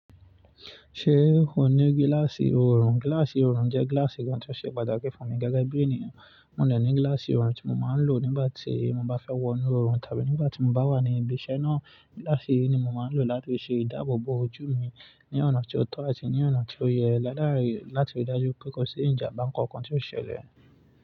Ṣé o ní gíláàsì oorun? Gíláàsì oorun jẹ́ gíláàsì kan tó ṣe pàtàkì fún mi gẹ́gẹ́ bí ènìyàn. Mo dẹ̀ ní gíláàsì oorun tí mo máa ń lò nígbà tí mo bá fẹ́ wọnú oorun tàbí nígbà tí mo bá wà ní ibi iṣẹ́ náà. Gíláàsì yìí ni mo máa ń lò láti ṣe ìdáàbò bo ojú mi ní ọ̀nà tí ó tọ́ àti ní ọ̀nà tí ó yẹ ládàrí láti rí dájú pé kò sí ìjàmbá kankan tí ó ṣẹlẹ̀